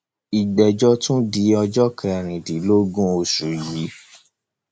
ìgbẹjọ tún di ọjọ kẹrìndínlọgbọn oṣù yìí